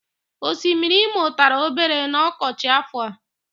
Osimiri Imo tara obere n'ọkọchị áfọ̀ a.